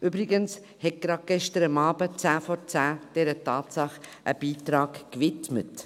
Übrigens hat gerade gestern Abend die Sendung «10 vor 10» dieser Tatsache einen Beitrag gewidmet.